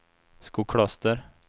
Skokloster